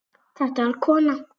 Þetta var kona.